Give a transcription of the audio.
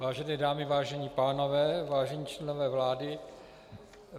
Vážené dámy, vážení pánové, vážení členové vlády.